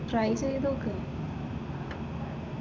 Try ചെയ്ത് നോക്ക്.